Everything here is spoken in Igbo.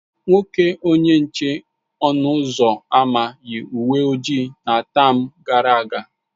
Nwoke onye nche ọnụ ụzọ ámá yi uwe ojii na tam gara aga.